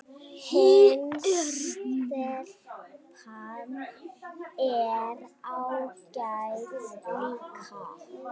Hin stelpan er ágæt líka